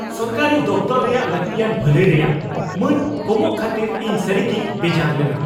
ᱥᱚᱨᱠᱟᱨᱤ ᱫᱚᱯᱷᱛᱚᱨ ᱨᱮᱭᱟᱜ ᱞᱟᱹᱠᱛᱤᱭᱟᱱ ᱵᱷᱟᱹᱞᱟᱹᱭ ᱨᱮᱭᱟᱜ ᱢᱟᱹᱱ ᱠᱚᱢᱚᱜ ᱠᱷᱟᱹᱛᱤᱨ ᱤᱧ ᱥᱟᱹᱨᱤᱜᱤᱧ ᱵᱮᱡᱟᱨ ᱞᱮᱱᱟ ᱾